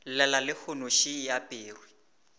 llela lehono še e aperwe